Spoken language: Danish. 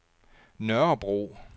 Nørrebro